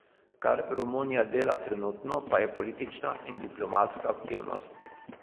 Kar Romunija dela trenutno, pa je politična in diplomatska aktivnost.